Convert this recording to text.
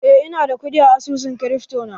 Eh, ina da kuɗi a asusun krifto na.